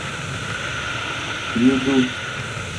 юду